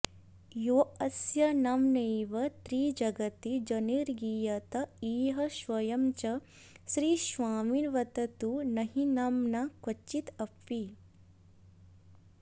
यतोऽस्य नाम्नैव त्रिजगति जनैर्गीयत इह स्वयं च श्रीस्वामिन्बत तु न हि नाम्ना क्वचिदपि